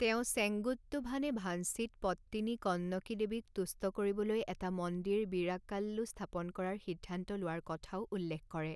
তেওঁ চেঙ্গুট্টুভানে ভাঞ্চিত পট্টিনী কন্নকী দেৱীক তুষ্ট কৰিবলৈ এটা মন্দিৰ বিৰাক্কাল্লু স্থাপন কৰাৰ সিদ্ধান্ত লোৱাৰ কথাও উল্লেখ কৰে।